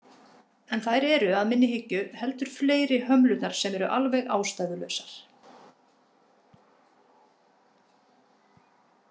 En þær eru að minni hyggju heldur fleiri hömlurnar sem eru alveg ástæðulausar.